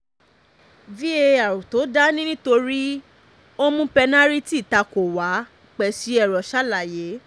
var tó dá ni nítorí ó mú pẹ́nàrìtì takò wá peseiro ṣàlàyé